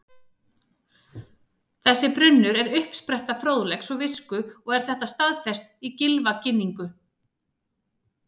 Þessi brunnur er uppspretta fróðleiks og visku og er þetta staðfest í Gylfaginningu: